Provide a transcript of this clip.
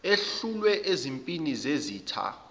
ehlulwe ezimpini zezitha